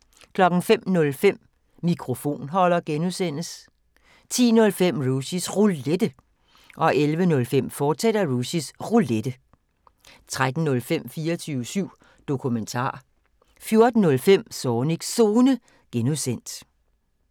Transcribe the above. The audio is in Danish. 05:05: Mikrofonholder (G) 10:05: Rushys Roulette 11:05: Rushys Roulette, fortsat 13:05: 24syv Dokumentar 14:05: Zornigs Zone (G)